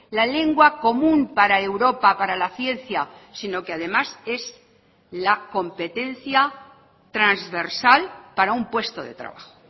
la lengua común para europa para la ciencia sino que además es la competencia transversal para un puesto de trabajo